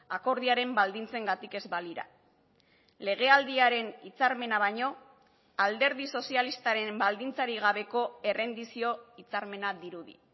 akordioaren baldintzengatik ez balira legealdiaren hitzarmena baino alderdi sozialistaren baldintzarik gabeko errendizio hitzarmena dirudi